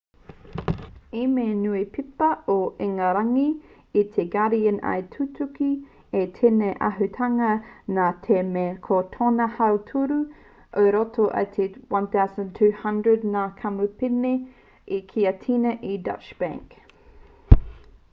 e mea ana te niupepa o ingarangi te guardian i tutuki ai tēnei āhuatanga nā te mea ko tōna hautoru i roto i te 1200 ngā kamupene i tiakina e deutsche bank